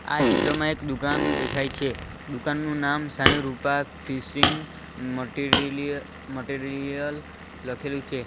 આ ચિત્રમાં એક દુકાન દેખાય છે દુકાનનું નામ Sai Rupa fishing material material લખેલું છે.